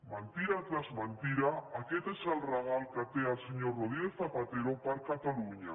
mentida rere mentida aquest és el regal que té el senyor rodríguez zapatero per a catalunya